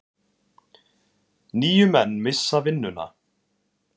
Níu menn missa vinnuna.